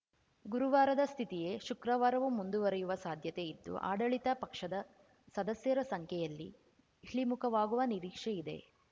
ಗುರುವಾರದ ಸ್ಥಿತಿಯೇ ಶುಕ್ರವಾರವು ಮುಂದುವರಿಯುವ ಸಾಧ್ಯತೆ ಇದ್ದು ಆಡಳಿತ ಪಕ್ಷದ ಸದಸ್ಯರ ಸಂಖ್ಯೆಯಲ್ಲಿ ಇಳಿಮುಖವಾಗುವ ನಿರೀಕ್ಷೆ ಇದೆ